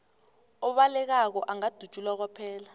obalekako angadutjulwa kwaphela